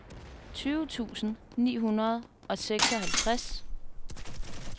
tyve tusind ni hundrede og seksoghalvtreds